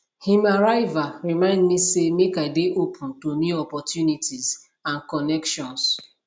him arrival remind me say make i dey open to new opportunities and connections